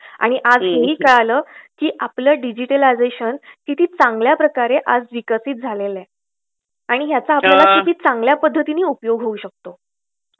आणि हेही कळलं की आपलं डिजिटलायझेशन किती चांगल्या प्रकारे विकसित झालेलं आहे आणि याचा आपल्याला किती चांगल्या पाध्ध्तिणे उपयोग होऊ शकतो.